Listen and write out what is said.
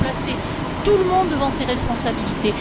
Il faut placer tout le monde devant ses responsabilités.